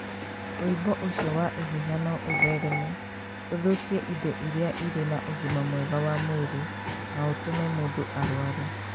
Ũimbo ũcio wa ihũha no ũthereme, ũthũkie indo iria irĩ na ũgima mwega wa mwĩrĩ, na ũtũme mũndũ arware.